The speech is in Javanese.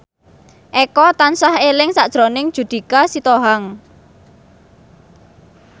Eko tansah eling sakjroning Judika Sitohang